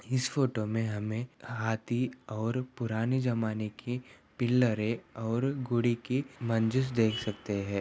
इस फोटो मैं हाथी और पुराने ज़माने के पिलर और घोड़े के मंजिस देख सकते है|